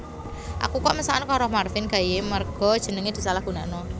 Aku kok mesakno karo Marvin Gaye merga jenenge disalahgunakno